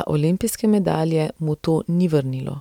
a olimpijske medalje mu to ni vrnilo.